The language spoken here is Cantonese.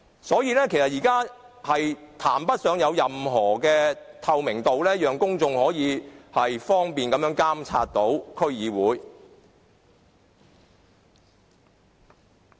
所以，現時根本談不上有任何透明度，讓公眾可以方便地監察區議會。